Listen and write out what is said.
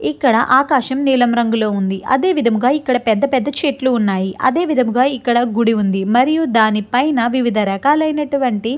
ఇక్కడ ఆకాశం నీలం రంగులో ఉందిఅదేవిధంగా ఇక్కడ పెద్ద పెద్ద చెట్లు ఉన్నాయి అదే విధంగా ఇక్కడ గుడి ఉంది మరియు దాని పైన వివిధ రకాలైనటువంటి --